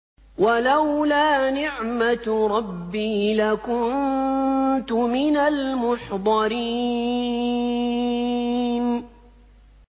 وَلَوْلَا نِعْمَةُ رَبِّي لَكُنتُ مِنَ الْمُحْضَرِينَ